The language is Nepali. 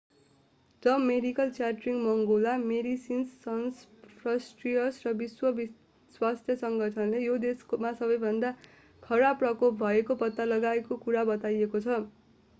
द मेडिकल च्यारिटी मङ्गोला मेडिसिन्स सन्स फ्रन्टियर्स र विश्व स्वास्थ्य सङ्गठनले यो देशमा सबैभन्दा खराब प्रकोप भएको पत्ता लागेको कुरा बताएको छ